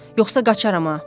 Yoxsa qaçarama.